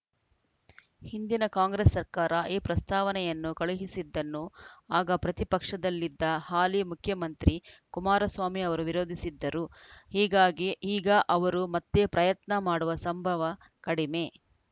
ಹಿಂದಿನ ಕಾಂಗ್ರೆಸ್‌ ಸರ್ಕಾರ ಈ ಪ್ರಸ್ತಾವನೆಯನ್ನು ಕಳುಹಿಸಿದ್ದನ್ನು ಆಗ ಪ್ರತಿಪಕ್ಷದಲ್ಲಿದ್ದ ಹಾಲಿ ಮುಖ್ಯಮಂತ್ರಿ ಕುಮಾರಸ್ವಾಮಿ ಅವರು ವಿರೋಧಿಸಿದ್ದರು ಹೀಗಾಗಿ ಈಗ ಅವರು ಮತ್ತೆ ಪ್ರಯತ್ನ ಮಾಡುವ ಸಂಭವ ಕಡಮೆ